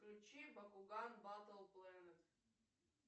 включи багуган батл плэнет